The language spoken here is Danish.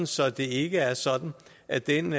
så det ikke er sådan at den